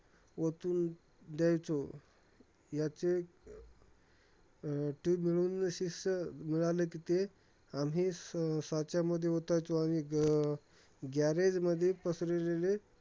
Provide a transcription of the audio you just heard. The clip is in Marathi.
ओतून द्यायचो. ह्याचे tube वितळून शिसे मिळालं कि, ते आम्ही साच्यामध्ये ओतायचे आणि अं garage मध्ये पसरलेले